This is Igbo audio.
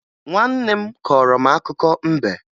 Nwanne m korọ akụkọ mbe